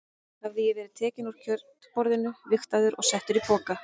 Hafði ég verið tekinn úr kjötborðinu, vigtaður og settur í poka?